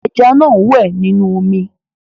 Ẹja náà ń wẹ̀ nínú omi.